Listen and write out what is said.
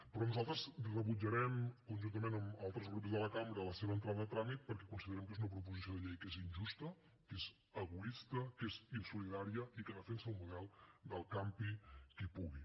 però nosaltres rebutjarem conjuntament amb altres grups de la cambra la seva entrada a tràmit perquè considerem que és una proposta de llei que és injusta que és egoista que és insolidària i que defensa un model del campi qui pugui